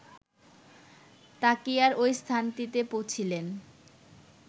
তাকিয়ার ঐ স্থানটিতে পুছিলেন